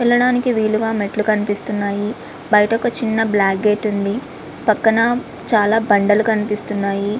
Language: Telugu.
వెళ్ళడానికి వీలుగా మెట్లు కనిపిస్తున్నాయి. బయట ఒక చిన్న బ్లాక్ గేటు ఉంది.పక్కన చాలా బండులు కనిపిస్తున్నాయి.